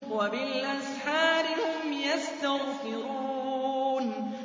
وَبِالْأَسْحَارِ هُمْ يَسْتَغْفِرُونَ